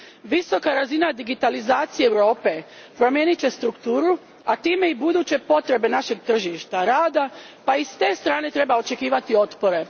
Visoka razina digitalizacije Europe promijenit će strukturu, a time i buduće potrebe našeg tržišta rada, pa i s te strane treba očekivati otpore.